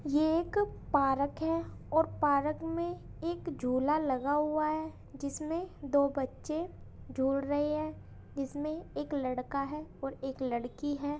ये एक पारक है और पारक में एक झूला लगा हुआ है जिसमें दो बच्चे झूल रहे हैं जिसमें एक लड़का है और एक लड़की है।